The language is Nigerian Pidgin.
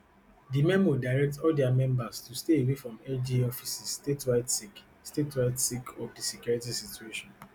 di memo direct all dia members to stay away from lga offices statewide sake statewide sake of di security situation